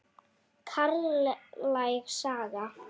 Karllæg saga?